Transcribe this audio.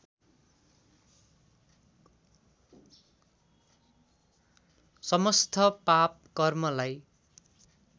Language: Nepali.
समस्थ पाप कर्मलाई